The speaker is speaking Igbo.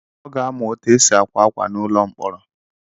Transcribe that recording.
Ọ ga-amụ etu esi akwa akwa n'ulo mkpọrọ.